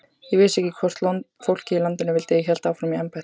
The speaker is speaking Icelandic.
Ég vissi ekki hvort fólkið í landinu vildi að ég héldi áfram í embætti.